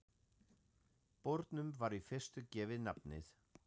Bornum var í fyrstu gefið nafnið